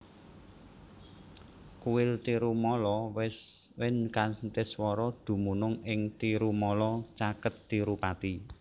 Kuil Tirumala Venkateswara dumunung ing Tirumala caket Tirupati